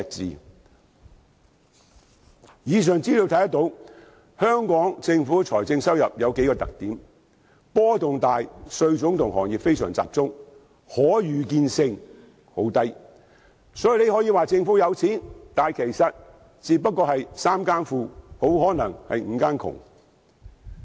從以上資料可見，香港政府的財政收入有數個特點：波動大、稅種和行業非常集中、可預見性十分低，所以大家可以說政府富有，但可能只是"三更富，五更窮"。